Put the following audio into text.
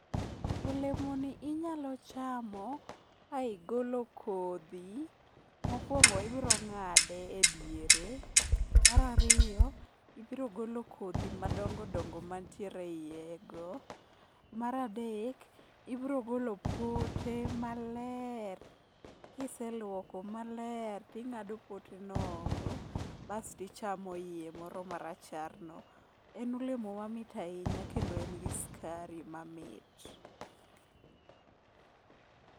Olemoni inyalo chamo ka igolo kodhi, mokwongo ibrong'ade e diere, mar ariyo ibrogolo kodhi madongodongo mantiere e iye go, mar adek ibrogolo pote maler kiselwoko maler ting'ado poteno oko basto ichamo iye moro maracharno. En olemo mamit ahinya kendo en gi skari mamit.